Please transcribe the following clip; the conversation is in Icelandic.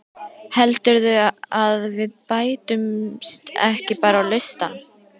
Heldurðu að við bætumst ekki bara á listann?